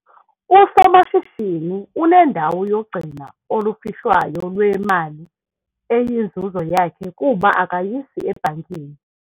Usomashishini unendawo yogcino olufihlwayo lwemali eyinzuzo yakhe kuba akayisi ebhankini.